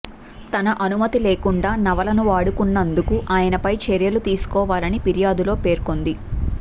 తన అనుమతి లేకుండా నవలను వాడుకున్నందుకు ఆయనపై చర్యలు తీసుకోవాలని ఫిర్యాదులో పేర్కొంది